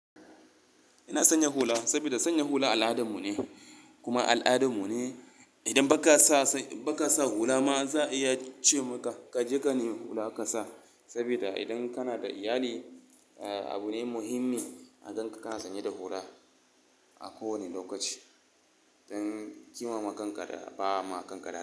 Ina sanya hula saboda sanya hula al'adarmu ne kuma al'adarmu ne. Idan ba ka sa, ba ka sa hula ma za a iya ce maka ka je ka yi hula ka sa. Saboda idan kana da iyali, ah abu ne muhimmi a ganka kana sanye da hula a kowane lokaci don ki mamaka kankara ba ma kankara.